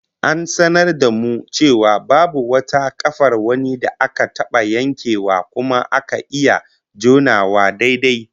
An sanar da mu cewa babu wata kafar wani da aka taba yankewa kuma aka iya jonawa daidai